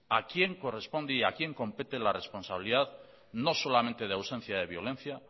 a quien corresponde y a quien compete la responsabilidad no solamente de ausencia de violencia